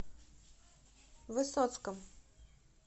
высоцком